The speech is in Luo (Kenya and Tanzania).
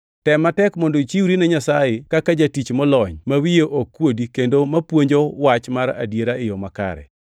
Tem matek mondo ichiwri ne Nyasaye kaka jatich molony ma wiye ok kuodi kendo mapuonjo Wach mar adiera e yo makare.